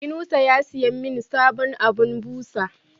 yunusa ya siyamin sabon abun busa